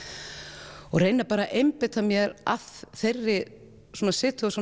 og reyna bara að einbeita mér að þeirri